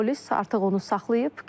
Polis artıq onu saxlayıb.